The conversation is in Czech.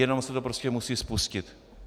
Jenom se to prostě musí spustit.